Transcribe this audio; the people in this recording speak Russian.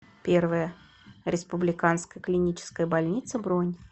первая республиканская клиническая больница бронь